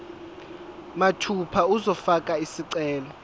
mathupha uzofaka isicelo